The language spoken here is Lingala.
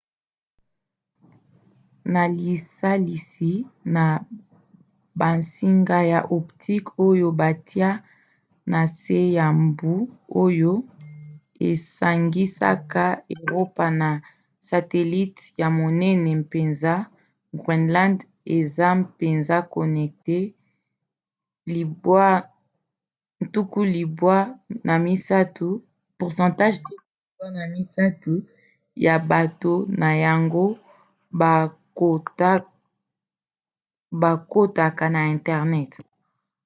na lisalisi na bansinga ya optique oyo batia na se ya mbu oyo esangisaka eropa na satelite ya monene mpenza groenland eza mpenza connecté 93% ya bato na yango bakotaka na internet